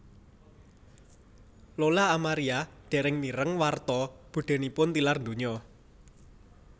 Lola Amaria dereng mireng warta budhenipun tilar donya